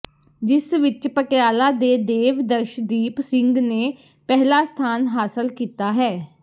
ਜਿਸ ਵਿੱਚ ਪਟਿਆਲਾ ਦੇ ਦੇਵ ਦਰਸ਼ਦੀਪ ਸਿੰਘ ਨੇ ਪਹਿਲਾ ਸਥਾਨ ਹਾਸਲ ਕੀਤਾ ਹੈ